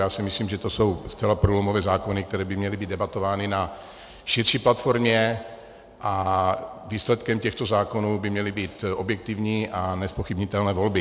Já si myslím, že to jsou zcela průlomové zákony, které by měly být debatovány na širší platformě, a výsledkem těchto zákonů by měly být objektivní a nezpochybnitelné volby.